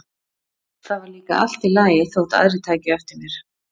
Það var líka allt í lagi þótt aðrir tækju eftir mér.